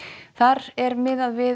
þar er miðað við